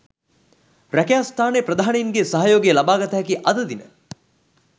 රැකියා ස්ථානයේ ප්‍රධානීන්ගේ සහයෝගය ලබාගත හැකි අද දින